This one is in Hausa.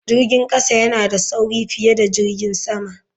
Jirgin kasa yana da sauri fiye da jirgin sama.